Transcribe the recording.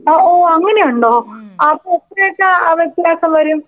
ഓ ഓ അങ്ങനെയുണ്ടോ? അപ്പോ എത്രയൊക്കെ വിത്യാസം വരും.